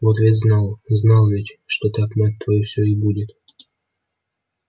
вот ведь знал знал ведь что так мать твою всё и будет